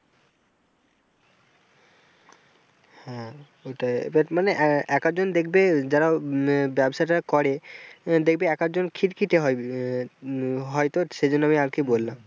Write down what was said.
হ্যাঁ ওটাই but মানে এক এক জন দেখবে যারা ব্যবসাটা করে দেখবে একজন খিটখিটে হয় হয় তো সেই জন্য আমি আর কি বললাম।